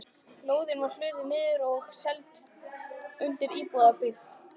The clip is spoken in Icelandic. Lóðin var hlutuð niður og seld undir íbúðabyggð.